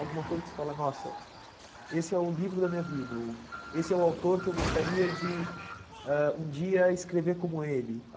Alguma coisa que você fala, nossa, esse é o livro da minha vida, ou esse é o autor que eu gostaria de ãh um dia escrever como ele.